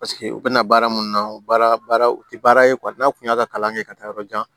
Paseke u bɛna baara mun na baara u tɛ baara ye n'a kun y'a ka kalan kɛ ka taa yɔrɔ jan